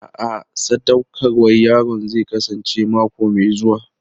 A'a, sadaukarwar yaron zai kasance mako mai zuwa.